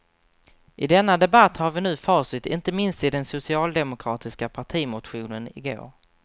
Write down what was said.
I denna debatt har vi nu facit inte minst i den socialdemokratiska partimotionen i går.